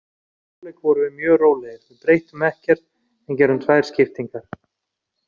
Í hálfleik vorum við mjög rólegir, við breyttum ekkert en gerðum tvær skiptingar.